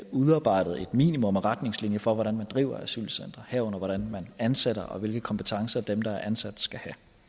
udarbejdede et minimum af retningslinjer for hvordan man driver asylcentre herunder hvordan man ansætter og hvilke kompetencer dem der er ansat skal